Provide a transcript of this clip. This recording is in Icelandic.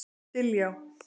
Diljá